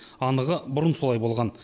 анығы бұрын солай болған